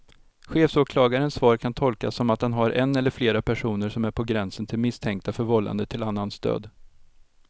Chefsåklagarens svar kan tolkas som att han har en eller flera personer som är på gränsen till misstänkta för vållande till annans död.